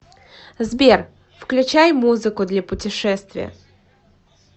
сбер включай музыку для путешествия